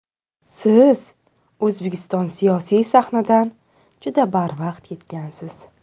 Siz O‘zbekiston siyosiy sahnidan juda barvaqt ketgansiz.